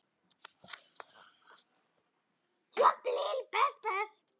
Og fara hvergi.